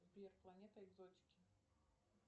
сбер планета экзотики